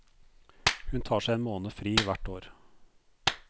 Hun tar seg en måned fri hvert år.